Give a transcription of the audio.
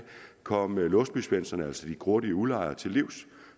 komme låsby svendsen typerne altså de grådige udlejere til livs